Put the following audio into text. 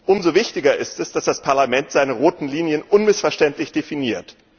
Umso wichtiger ist es, dass das Parlament seine roten Linien unmissverständlich definiert.